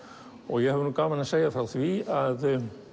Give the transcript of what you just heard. ég hef gaman af að segja frá því að